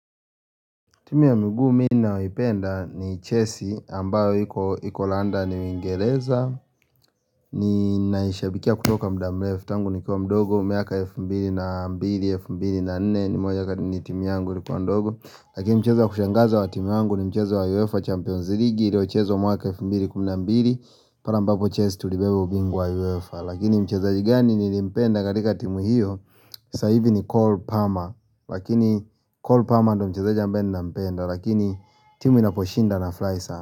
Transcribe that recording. Timu ya mguu mi naoipenda ni chessi ambayo iko landani uingereza Ninaishabikia kutoka muda mrefu ttangu nikiwa mdogo miaka 2004 ni moja kati ni timu yangu nikiwa mdogo Lakini mchezo ya kushangaza wa timu yangu ni mchezo wa UEFA Champions League ilio chazo mwaka elfu mbili kumi na mbili pare ambapo chelsi tulibeba ubingwa wa UEFA Lakini mchezaji gani nilimpenda katika timu hiyo saa ivi ni Cole Palmer Lakini Cole Palmer ndo mchezaji ambaye ninampenda Lakini timu inaposhinda nafurahi sana.